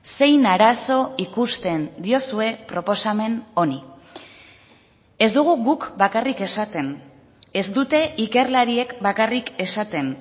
zein arazo ikusten diozue proposamen honi ez dugu guk bakarrik esaten ez dute ikerlariek bakarrik esaten